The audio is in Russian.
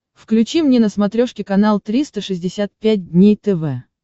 включи мне на смотрешке канал триста шестьдесят пять дней тв